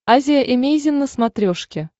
азия эмейзин на смотрешке